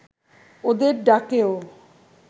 ওদের ডাকেও